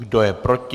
Kdo je proti?